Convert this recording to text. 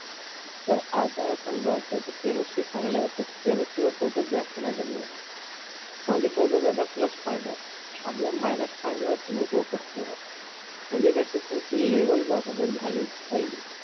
तर आता समजा त्याच chemistry चांगल आहे तर तो chemistry वर जास्त focus जास्त नाही करणार कारण कि तो त्याचा plus point आहे minus point वर तुम्ही focus करा म्हणजे कस तुमची level बरोबर झाली पाहिजे